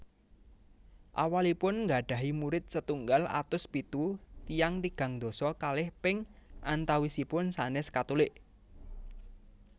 Awalipun nggadhahi murid setunggal atus pitu tiyang tigang dasa kalih ping antawisipun sanès Katulik